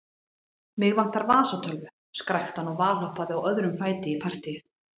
Mig vantar vasatölvu, skrækti hann og valhoppaði á öðrum fæti í partýið.